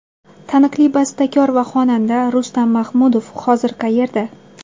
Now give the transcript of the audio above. Taniqli bastakor va xonanda Rustam Mahmudov hozir qayerda?.